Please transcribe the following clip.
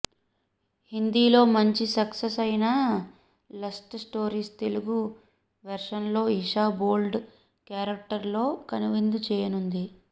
హిందీలో మంచి సక్సెస్ అయిన లస్ట్ స్టోరీస్ తెలుగు వెర్షన్లో ఈషా బోల్డ్ కేరక్టర్ లో కనువిందు చేయనుంది